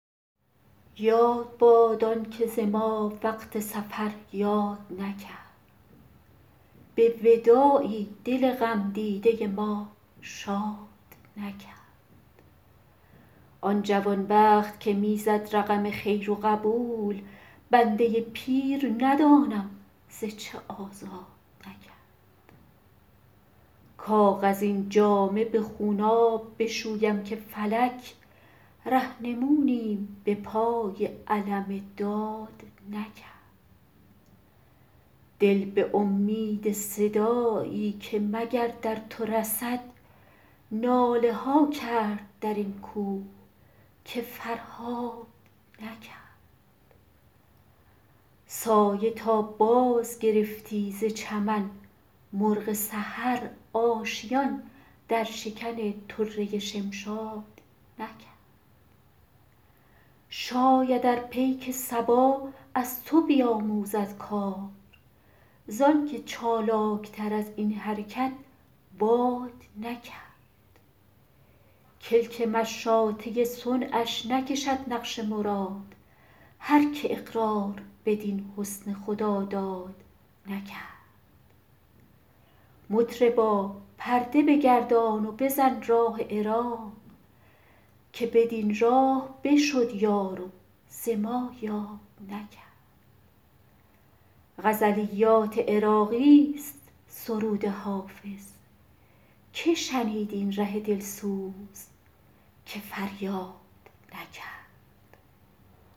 یاد باد آن که ز ما وقت سفر یاد نکرد به وداعی دل غم دیده ما شاد نکرد آن جوان بخت که می زد رقم خیر و قبول بنده پیر ندانم ز چه آزاد نکرد کاغذین جامه به خونآب بشویم که فلک رهنمونیم به پای علم داد نکرد دل به امید صدایی که مگر در تو رسد ناله ها کرد در این کوه که فرهاد نکرد سایه تا بازگرفتی ز چمن مرغ سحر آشیان در شکن طره شمشاد نکرد شاید ار پیک صبا از تو بیاموزد کار زآن که چالاک تر از این حرکت باد نکرد کلک مشاطه صنعش نکشد نقش مراد هر که اقرار بدین حسن خداداد نکرد مطربا پرده بگردان و بزن راه عراق که بدین راه بشد یار و ز ما یاد نکرد غزلیات عراقی ست سرود حافظ که شنید این ره دل سوز که فریاد نکرد